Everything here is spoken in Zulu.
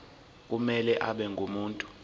kumele abe ngumuntu